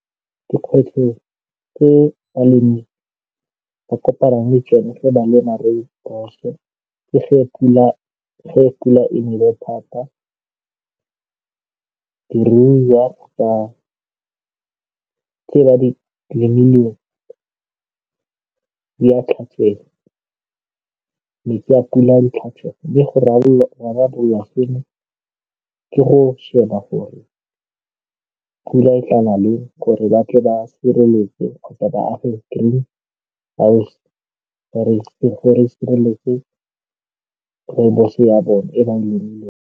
Dikgwetlho tse balemi ba kopanang le tsone ge ba lema Rooibos-o, ke ge pula e nele thata. Diruiwa tse ba di lemileng di a tlhatswega, metsi a pula di tlhatswa mme go rarabolla seno, ke go sheba gore pula e tla na leng gore ba tle ba sireletse kgotsa ba age green gore e sireletse Rooibos ya bone, e ba e lemileng.